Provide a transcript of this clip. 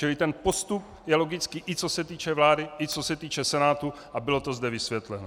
Čili ten postup je logický i co se týče vlády i co se týče Senátu a bylo to zde vysvětleno.